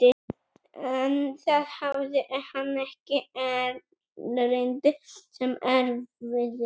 En þar hafði hann ekki erindi sem erfiði.